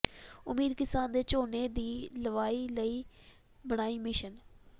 ਉਦਮੀ ਕਿਸਾਨ ਨੇ ਝੋਨੇ ਦੀ ਲਵਾਈ ਲਈ ਬਣਾਈ ਮਸ਼ੀਨ